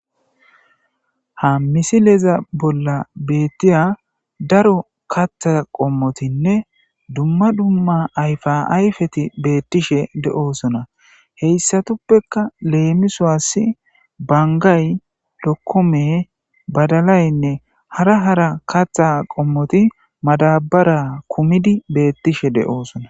Ha missileza bolla betiya daro kaththa qommotinne dumma dumma ayfa ayfeti betishe de'osonna. Hesappekka lemissos: banggay, lokomeynne hara hara kaththa qommoti madabara kumidi betishe de'osonna.